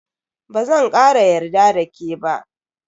Bazan kara yarda da ke ba.